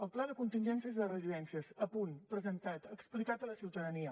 el pla de contingències de residències a punt presentat explicat a la ciutadania